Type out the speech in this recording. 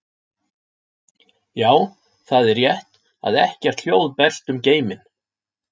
Já, það er rétt að ekkert hljóð berst um geiminn.